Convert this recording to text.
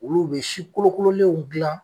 Olu bɛ si kolokololenw dilan.